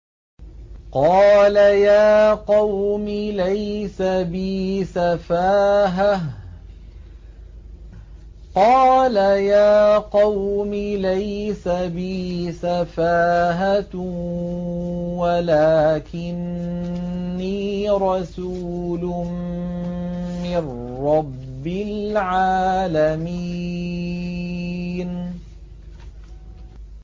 قَالَ يَا قَوْمِ لَيْسَ بِي سَفَاهَةٌ وَلَٰكِنِّي رَسُولٌ مِّن رَّبِّ الْعَالَمِينَ